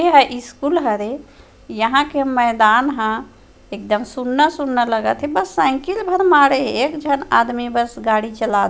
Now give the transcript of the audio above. यह स्कूल हरे यहाँ के मैदान ह एकदम सुना - सुना लगत हे बस साइकिल भर माड़े हे एक जन आदमी बस गाड़ी चाला --